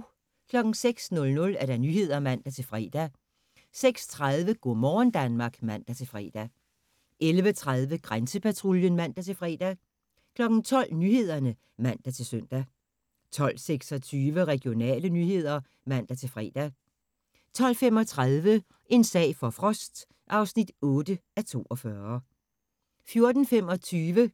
06:00: Nyhederne (man-fre) 06:30: Go' morgen Danmark (man-fre) 11:30: Grænsepatruljen (man-fre) 12:00: Nyhederne (man-søn) 12:26: Regionale nyheder (man-fre) 12:35: En sag for Frost (8:42) 14:25: